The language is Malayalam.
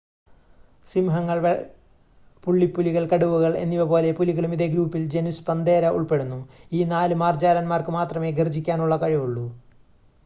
സിംഹങ്ങൾ പുള്ളിപ്പുലികൾ കടുവകൾ എന്നിവപോലെ പുലികളും ഇതേ ഗ്രൂപ്പിൽ ജനുസ് പന്തേര ഉൾപ്പെടുന്നു. ഈ 4 മാർജ്ജാരൻമാർക്ക് മാത്രമേ ഗർജ്ജിക്കാനുള്ള കഴിവുള്ളു